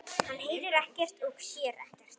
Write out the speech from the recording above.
Hann heyrir ekkert og sér ekkert.